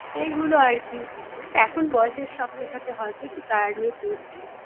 এগুলো আর কি এখন বয়সের সাথে সাথে হয়তো একটু tired হয়ে পড়ছি